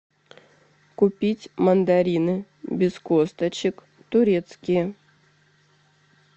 купить мандарины без косточек турецкие